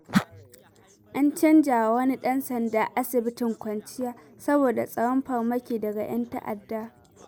An canjawa wani ɗan sanda asibitin kwanciya, saboda tsoron farmaki daga 'yan ta'adda.